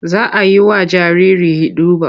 Za a yi wa jariri hiɗuba.